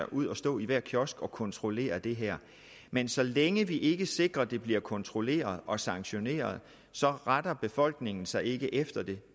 ud at stå i hver kiosk og kontrollere det her men så længe vi ikke sikrer at det bliver kontrolleret og sanktioneret så retter befolkningen sig ikke efter det